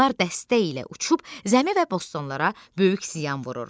Onlar dəstə ilə uçub zəmi və bostonlara böyük ziyan vurur.